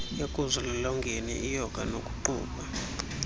ekuzilolongeni iyoga nokuqubha